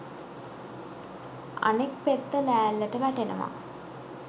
අනෙක් පෙත්ත ලෑල්ලට වැටෙනවා